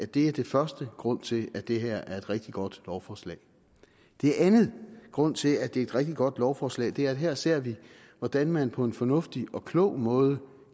det er den første grund til at det her er et rigtig godt lovforslag den anden grund til at det er et rigtig godt lovforslag er at vi her ser hvordan man på en fornuftig og klog måde